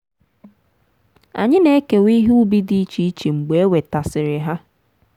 anyị na-ekewa ihe ubi dị iche iche mgbe e wetasịrị ha.